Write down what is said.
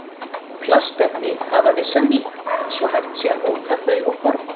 Plastefni hafa vissa mýkt svo hægt sé að móta þau og forma.